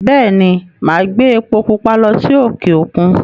Bẹ́è ni, màá gbé epo púpa lọ sí òkè-òkun.